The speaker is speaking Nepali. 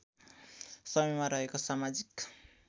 समयमा रहेको समाजिक